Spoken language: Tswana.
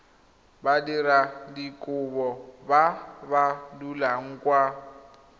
badiradikopo ba ba dulang kwa